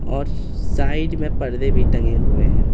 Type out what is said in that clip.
और साइड में पर्दे भी टंगे हुए हैं।